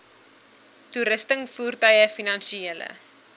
toerusting voertuie finansiële